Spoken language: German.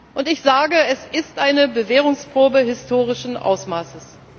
Und ich sage, es ist eine Bewährungsprobe historischen Ausmaßes.